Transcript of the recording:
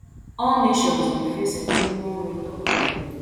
all nations dey face a minimum rate of ten